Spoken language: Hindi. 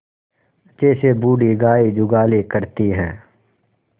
जैसे बूढ़ी गाय जुगाली करती है